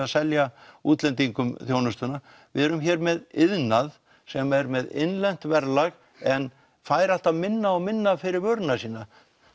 að selja útlendingum þjónustuna við erum hér með iðnað sem er með innlent verðlag en fær alltaf minna og minna fyrir vöruna sína